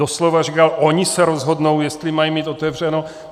Doslova říkal, oni se rozhodnou, jestli mají mít otevřeno.